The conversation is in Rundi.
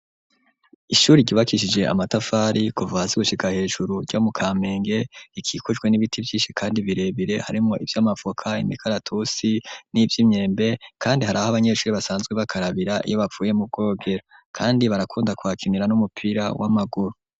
Ishuri ryubakishije amatafari kuva hasi gushika hejuru ryo mu kamenge rikikujwe n'ibiti vyishi kandi birebire harimwo ivyo mavoka imikaratusi n'ivyi myembe kandi hari aho abanyeshuri basanzwe bakarabira iyo bavuye mu bwogero kandi barakunda kuhakinira n'umupira w'amaguru.